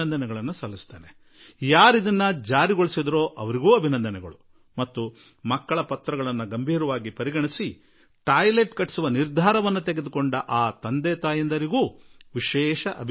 ಈ ಪ್ರಯತ್ನ ನಡೆಸಿದ ವಿದ್ಯಾರ್ಥಿಗಳನ್ನೂ ಅಭಿನಂದಿಸುವೆ ಹಾಗೂ ತಮ್ಮ ಮಕ್ಕಳು ಬರೆದ ಪತ್ರವನ್ನು ಗಂಭೀರವಾಗಿ ತೆಗೆದುಕೊಂಡು ಶೌಚಾಲಯ ನಿರ್ಮಿಸಲು ನಿರ್ಣಯ ಮಾಡಿದ ಆ ತಂದೆ ತಾಯಿಗಳನ್ನು ನಾನು ಅಭಿನಂದಿಸುವೆ